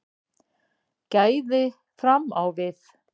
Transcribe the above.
Gæði fram á við